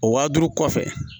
O wa duuru kɔfɛ